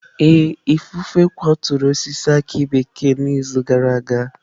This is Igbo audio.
Ee, ifufe kwaturu osisi aki bekee n'izu gara aga.